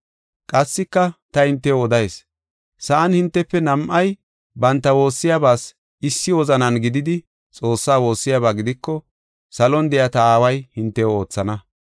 “Qassika ta hintew odayis; sa7an hintefe nam7ay banta woossiyabas issi wozanan gididi Xoossaa woossiyaba gidiko salon de7iya ta Aaway hintew oothana.